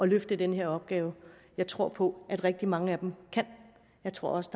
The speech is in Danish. løfte den her opgave jeg tror på at rigtig mange af dem kan jeg tror også